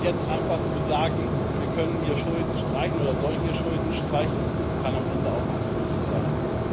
Und jetzt einfach zu sagen, wir können hier Schulden streichen oder sollen hier Schulden streichen, kann am Ende auch nicht die Lösung sein.